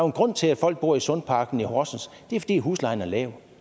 en grund til at folk bor i sundparken i horsens det er fordi huslejen er lav